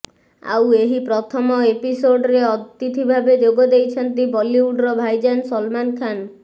ଆଉ ଏହି ପ୍ରଥମ ଏପିସୋଡରେ ଅତିଥି ଭାବେ ଯୋଗ ଦେଇଛନ୍ତି ବଲିଉଡର ଭାଇଜାନ ସଲମାନ ଖାନ୍